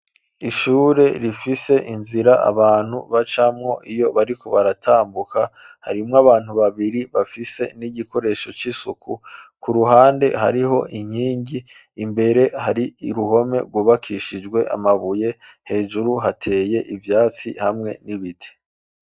Ishure rifise inzira abantu bacamwo iyo bariko baratambuka ,harimwo abantu babiri bafise n'igikoresho c'isuku, ku ruhande hariho inkingi ,imbere hari iruhome gubakishijwe amabuye, hejuru hateye ivyatsi hamwe n'ibiti.